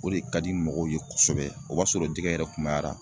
O de ka di mɔgɔw ye kosɛbɛ. O b'a sɔrɔ jɛgɛ yɛrɛ kunbayara.